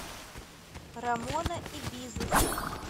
рамона и бизус